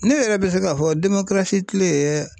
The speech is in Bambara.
Ne yɛrɛ bɛ se k'a fɔ tile